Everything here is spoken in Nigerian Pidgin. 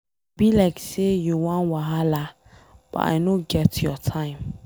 E be like say you wan wahala but I no get your time.